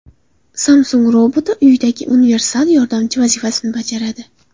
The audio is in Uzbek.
Samsung roboti uydagi universal yordamchi vazifasini bajaradi.